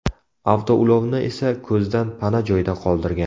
Avtoulovni esa ko‘zdan pana joyda qoldirgan.